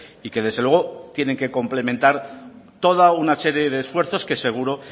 y que desde luego tienen que complementar toda una serie de esfuerzos que seguro